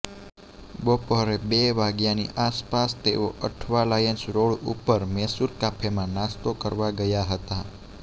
બપોરે બે વાગ્યાની આસપાસ તેઓ અઠવાલાઇન્સ રોડ ઉપર મૈસુર કાફેમાં નાસ્તો કરવા ગયા હતાં